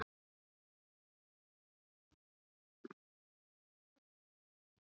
Hvíldin varð honum líkn.